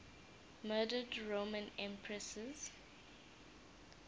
murdered roman empresses